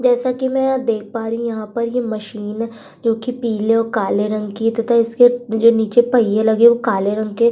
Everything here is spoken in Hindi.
जैसा कि मैं यहां देख पा रही हूं यहां पर ये मशीन जो कि पीले और काले रंग की तथा इसके जो नीचे पहिए लगे वो काले रंग के --